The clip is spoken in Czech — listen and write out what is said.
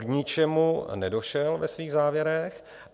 K ničemu nedošel ve svých závěrech.